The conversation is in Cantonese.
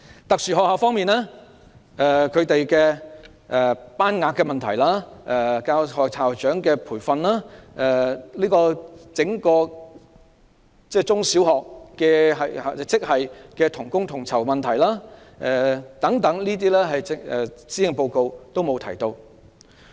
特殊學校方面，這些學校要面對班額、教師和校長的培訓、中小學職系同工同酬等問題，施政報告都沒有提及。